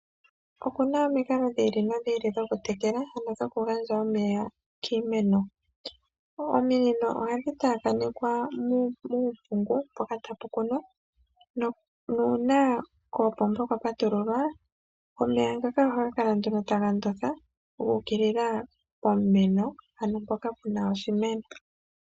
Okuna omikalo dhi ili nodhi ili dhoku tekela ano dhoku gandja omeya kiimeno. Ominino ohadhi taakanekwa muumpungu mpoka tapu kunwa nuuna koopomba kwa patululwa omeya ngaka ohaga kala nduno taga ndotha guukilila pomeno ano mpoka puna oshimeno.